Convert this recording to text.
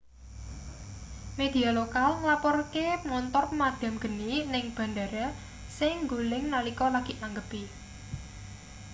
media lokal nglaporke montor pemadham geni ning bandhara sing nggoling nalika lagi nanggepi